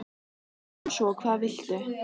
segir hún svo: Hvað viltu?